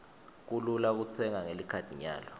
kulula kutsenga ngelikhadi nyalo